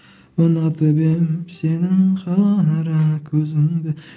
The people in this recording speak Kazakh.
ұнатып едім сенің қара көзіңді